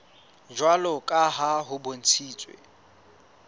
jwalo ka ha ho bontshitswe